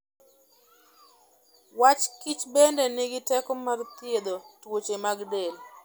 Wach Kichbende nigi teko mar thiedho tuoche mag del.